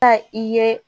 Ka i ye